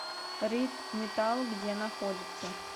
рид металл где находится